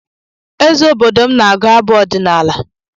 Eze obodo m na-agụ abụ ọdinala